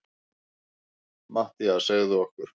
MATTHÍAS: Segðu okkur.